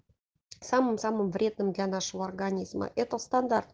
самым самым вредным для нашего организма это стандарт